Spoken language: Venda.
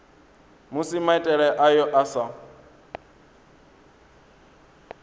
musi maitele ayo a sa